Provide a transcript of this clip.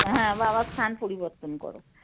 হ্যাঁ বাবা স্থান পরিবর্তন কর।